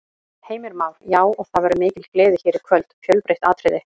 Heimir Már: Já, og það verður mikil gleði hér í kvöld, fjölbreytt atriði?